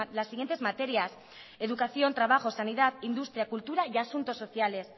las siguientes materias educación trabajo sanidad industria cultura y asuntos sociales